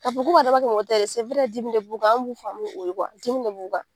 K'a fɔ k'u b'a dabɔ a kama,o tɛ dɛ dimi de b'u kan kuwa, an b' b'u faamu dimi de b'u kan